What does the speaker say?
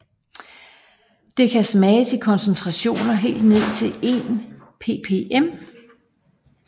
Det kan smages i koncentrationer helt ned til 1 ppm